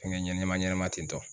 Fɛnkɛ ɲɛnama ɲɛnama ten tɔ.